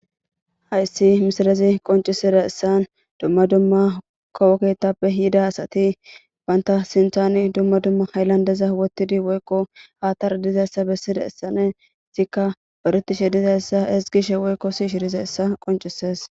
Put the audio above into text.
Hayssi misilezi qonccisidayssan kawo keeththappe yida asati ba sinththan dumma dumma hayilandeza wottidi woykko haattara dizayssa bessidinne istikka zoretishe ezgishe woykko siyishe dizayssa qonccisee.